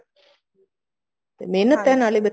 ਮਿਹਨਤ ਕਰਨ ਆਲੇ